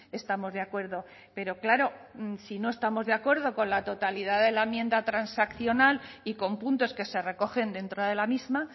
estamos de acuerdo pero claro si no estamos de acuerdo con la totalidad de la enmienda transaccional y con puntos que se recogen dentro de la misma